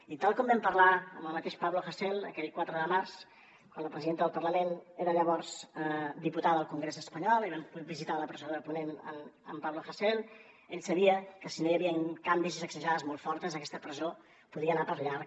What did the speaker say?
i tal com vam parlar amb el mateix pablo hasél aquell quatre de març quan la presidenta del parlament era llavors diputada al congrés espanyol i vam visitar a la presó de ponent en pablo hasél ell sabia que si no hi havien canvis i sacsejades molt fortes aquesta presó podia anar per llarg